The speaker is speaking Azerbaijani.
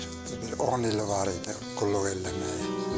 Bir 10 il var idi qulluq eləməyi.